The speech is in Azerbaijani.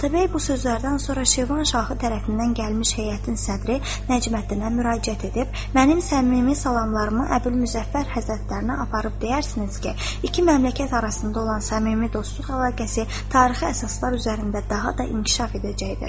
Atabəy bu sözlərdən sonra Şirvan şahı tərəfindən gəlmiş heyətin sədri Nəcməddinə müraciət edib, mənim səmimi salamlarımı Əbülmüzəffər həzrətlərinə aparıb deyərsiniz ki, iki məmləkət arasında olan səmimi dostluq əlaqəsi tarixi əsaslar üzərində daha da inkişaf edəcəkdir.